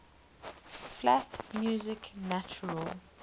flat music natural